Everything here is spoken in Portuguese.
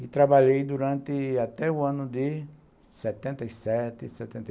E trabalhei durante até o ano de setenta e sete, setenta e